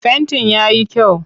Fentin ya yi kyau?